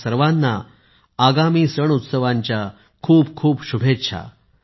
तुम्हा सर्वांना आगामी सण उत्सवांच्या खूप खूप शुभेच्छा